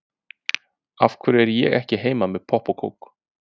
Af hverju er ég ekki heima með popp og kók?